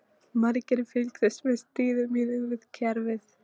Margir fylgdust með stríði mínu við kerfið.